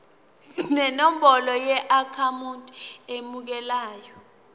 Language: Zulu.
nenombolo yeakhawunti emukelayo